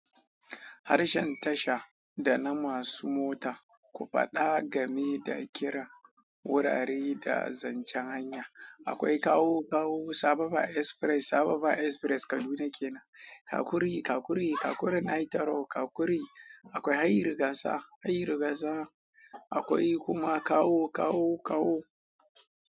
Harshen tasha da na masu mota, ku faɗa game da kiran wurare da zancen hanya. Akwai kawu, kawu, sababa express, sababa express Kaduna kenan. Kakuri, kakuri, kakurin Aitaro, kakuri. Akwai Hayin Rigasa, Hayin Rigasa. Akwai kuma kawu, kawu, kawu.